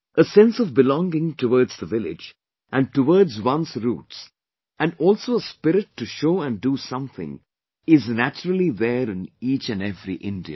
A sense of belonging towards the village and towards one's roots and also a spirit to show and do something is naturally there in each and every Indian